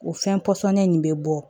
O fɛn pɔsɔnnen in bɛ bɔ